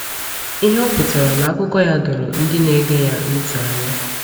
Ihe o pụtara n’akụkọ ya doro ndị na-ege ya ntị anya.